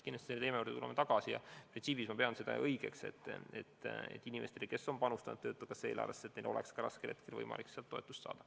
Kindlasti tuleme selle teema juurde tagasi, aga printsiibis ma pean õigeks, et inimestel, kes on panustanud töötukassa eelarvesse, on raskel hetkel võimalik sealt toetust saada.